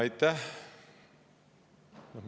Aitäh!